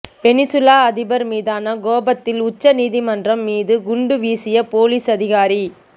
Venezuela அதிபர் மீதான கோபத்தில் உச்ச நீதிமன்றம் மீது குண்டு வீசிய போலீஸ் அதிகாரி